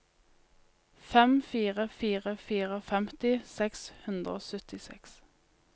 fem fire fire fire femti seks hundre og syttiseks